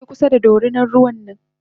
Karkaje kusa da dorinan ruwan nan m